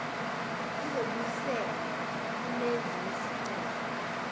zizobuyiselwa kumenzi wesicelo